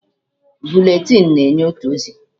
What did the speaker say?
Bụletịn na-enye otu ozi.